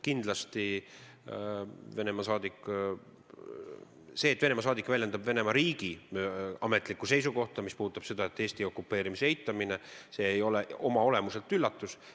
See, et Venemaa suursaadik väljendab Venemaa ametlikku seisukohta, mis puudutab seda, et Eesti okupeerimist eitatakse, ei ole oma olemuselt üllatus.